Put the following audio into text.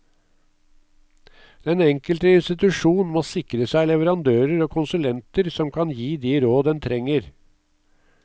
Den enkelte institusjon må sikre seg leverandører og konsulenter som kan gi de råd en trenger.